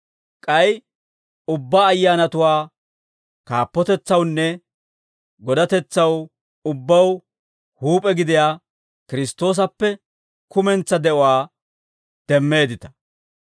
K'ay ubbaa ayyaanatuwaa kaappotetsawunne godatetsaw ubbaw huup'e gidiyaa Kiristtoosappe kumentsaa de'uwaa demmeeddita.